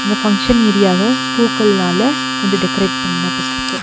Function ஏரியாவ பூக்கள்னால கொஞ்சோ டெகரேட் பன்னப்பற்றுக்கு.